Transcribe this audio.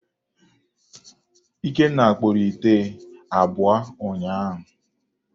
Ikenna kpụrụ ite abụọ ụnyaahụ.